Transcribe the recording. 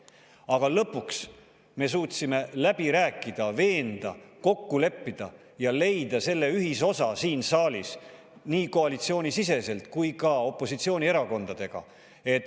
Aga lõpuks me suutsime läbi rääkida, veenda, kokku leppida ja leida selle ühisosa siin saalis nii koalitsioonisiseselt kui ka opositsioonierakondadega.